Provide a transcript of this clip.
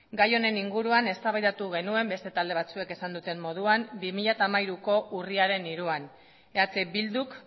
gai honen inguruan eztabaidatu genuen beste talde batzuek esan duten moduan bi mila hamairuko urriaren hiruan eh bilduk